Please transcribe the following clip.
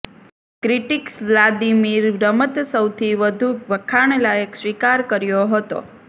critics Vladimir રમત સૌથી વધુ વખાણ લાયક સ્વીકાર કર્યો હતો